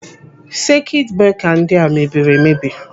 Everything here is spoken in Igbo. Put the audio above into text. Sekit breka ndị a mebiri emebi.